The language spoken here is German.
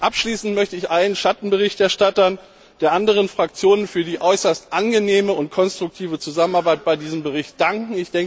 Abschließend möchte ich allen Schattenberichterstattern der anderen Fraktionen für die äußerst angenehme und konstruktive Zusammenarbeit bei diesem Bericht danken.